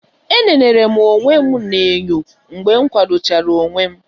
Enenere m onwe m na-enyo mgbe m kwado chara onwe m.